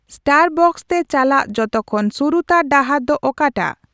Starbucks ᱛᱮ ᱪᱟᱞᱟᱜ ᱡᱚᱛᱚ ᱠᱷᱚᱱ ᱥᱩᱨᱩᱛᱟᱹᱨ ᱰᱟᱦᱟᱨ ᱫᱚ ᱚᱠᱟᱴᱟᱜ